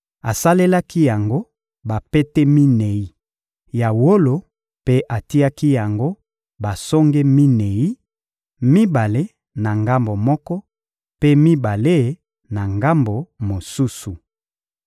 Asalelaki yango bapete minei ya wolo mpe atiaki yango basonge minei: mibale na ngambo moko, mpe mibale na ngambo mosusu.